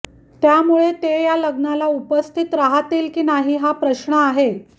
त्यामुळे ते या लग्नाला उपस्थित राहतील की नाही हा प्रश्न आहे